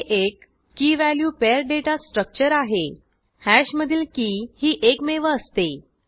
हे एक key value pair data structure आहे हॅश मधील की ही एकमेव असते